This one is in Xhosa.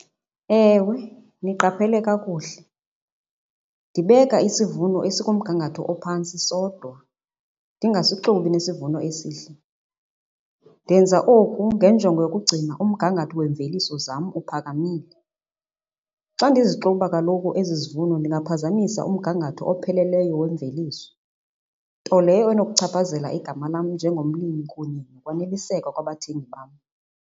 Ewe, niqaphele kakuhle. Ndibeka isivuno esikumgangatho ophantsi sodwa ndingasixubi nesivuno esihle. Ndenza oku ngenjongo yokugcina umgangatho wemveliso zam uphakamile. Xa ndizixuba kaloku ezi zivuno ndingaphazamisa umgangatho opheleleyo wemveliso. Nto leyo enokuchaphazela igama lam njengomlimi kunye nokwaneliseka kwabathengi bam.